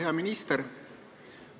Hea minister!